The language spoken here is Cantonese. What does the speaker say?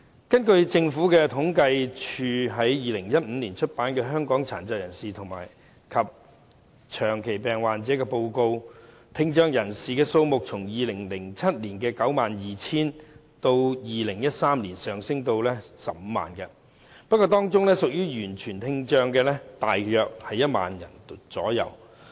根據政府統計處於2015年出版的《香港的殘疾人士及長期病患者》報告，聽障人士數目自2007年的 92,000 人，上升至2013年的 150,000 人，不過，當中屬於完全聽障的大約只有 10,000 人。